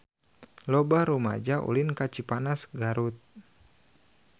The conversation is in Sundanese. Loba rumaja ulin ka Cipanas Garut